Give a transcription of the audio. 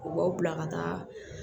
U b'aw bila ka taa